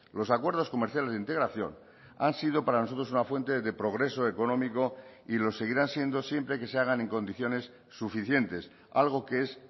los acuerdos comerciales de integración han sido para nosotros una fuente de progreso económico y los seguirán siendo siempre que se hagan en condiciones suficientes algo que es